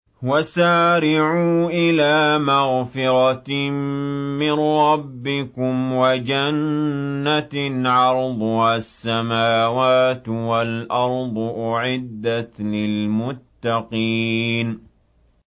۞ وَسَارِعُوا إِلَىٰ مَغْفِرَةٍ مِّن رَّبِّكُمْ وَجَنَّةٍ عَرْضُهَا السَّمَاوَاتُ وَالْأَرْضُ أُعِدَّتْ لِلْمُتَّقِينَ